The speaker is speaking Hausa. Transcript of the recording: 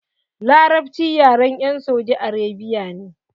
Larabci yaren 'yan Saudi Arabia ne.